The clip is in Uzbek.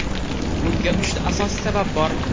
Bunga uchta asosiy sabab bor.